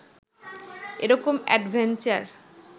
এরকম অ্যাডভেঞ্চার